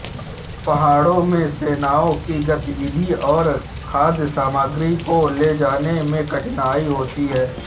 पहाड़ों में सेनाओं की गतिविधि और खाद्य सामग्री को ले जाने में कठिनाई होती है